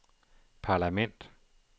parlament